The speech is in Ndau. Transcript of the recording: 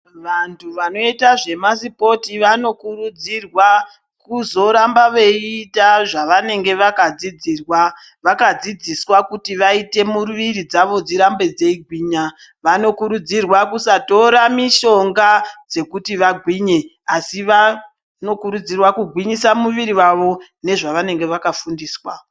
Vantu vanoita zvema sipoti vanokurudzirwa kuzoramba beyiita zvavanenge vakadzidziswa kuti vaite miiri dzavo dzirambe dziyigwinya, vanokurudzirwa kusatora mishonga dzekuti vagwinye asivanokurudzirwa kugwinyisa muiri yavo nezvavanenge vakafundiswa.